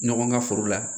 Ɲɔgɔn ka foro la